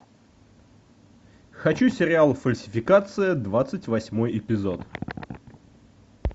хочу сериал фальсификация двадцать восьмой эпизод